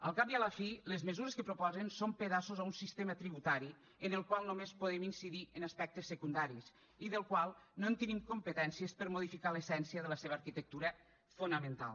al cap i a la fi les mesures que proposen són pedaços a un sistema tributari en el qual només podem incidir en aspectes secundaris i del qual no en tenim competències per a modificar l’essència de la seva arquitectura fonamental